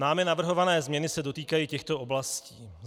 Námi navrhované změny se dotýkají těchto oblastí.